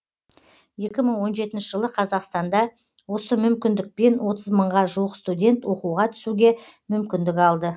екі мың он жетінші жылы қазақстанда осы мүмкіндікпен отыз мыңға жуық студент оқуға түсуге мүмкіндік алды